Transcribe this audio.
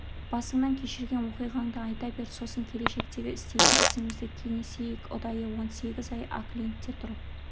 басыңнан кешірген оқиғаңды айта бер сосын келешектегі істейтін ісімізді кеңесейік ұдайы он сегіз ай оклендте тұрып